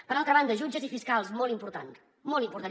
per altra banda jutges i fiscals molt important molt important